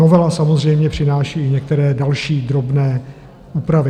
Novela samozřejmě přináší i některé další drobné úpravy.